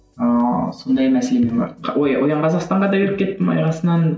ыыы сондай мәселемен барып оян қазақстанға да кіріп кеттім аяқ астынан